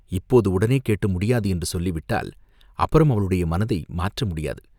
இப்போது உடனே கேட்டு, முடியாது, என்று சொல்லிவிட்டால், அப்புறம் அவளுடைய மனத்தை மாற்ற முடியாது.